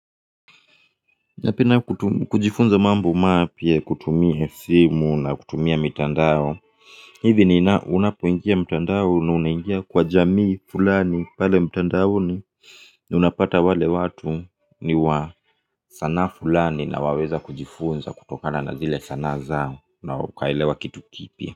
Napenda kujifunza mambo mapya kutumia simu na kutumia mitandao. Hivi unapoingia mtandao ni unaingia kwa jamii fulani pale mtandaoni unapata wale watu ni wa sanaa fulani na waweza kujifunza kutokana na zile sanaa zao na ukaelewa kitu kipya.